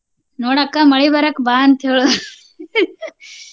ನೋಡ ಅಕ್ಕ ಮಳಿ ಬರಾಕ ಬಾ ಅಂತ ಹೇಳ